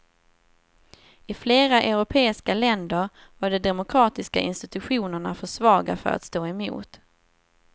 I flera europeiska länder var de demokratiska institutionerna för svaga för att stå emot.